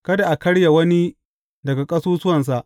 Kada a karya wani daga ƙasusuwansa.